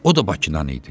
O da Bakıdan idi.